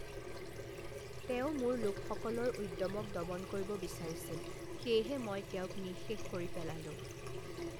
তেওঁ মোৰ লোকসকলৰ উদ্যমক দমন কৰিব বিচাৰিছিল, সেয়েহে মই তেওঁক নিঃশেষ কৰি পেলালো।